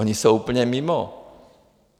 Oni jsou úplně mimo.